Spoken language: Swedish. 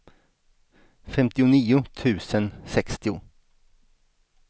femtionio tusen sextio